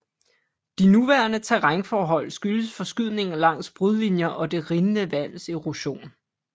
De nuværende terrænforhold skyldes forskydninger langs brudlinjer og det rindende vands erosion